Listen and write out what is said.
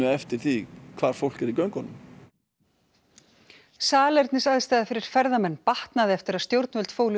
eftir því hvar fólk er í göngunum salernisaðstaða fyrir ferðamenn batnaði eftir að stjórnvöld fólu